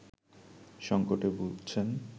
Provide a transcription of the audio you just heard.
সংকটে ভুগছেন